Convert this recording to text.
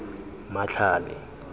matlhale